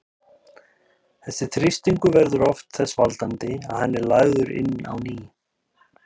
Þessi þrýstingur verður oft þess valdandi að hann er lagður inn á ný.